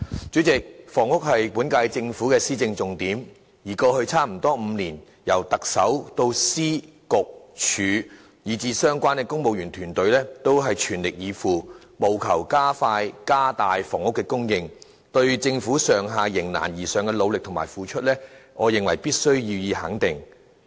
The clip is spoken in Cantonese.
主席，房屋是本屆政府的施政重點，而過去差不多5年，由行政長官以至各政府部門的公務員團隊都是全力以赴，務求加快、加大房屋的供應，對政府上下迎難而上的努力及付出，我認為必須予以肯定。